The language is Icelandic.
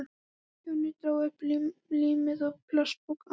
Jonni dró upp límið og plastpokann.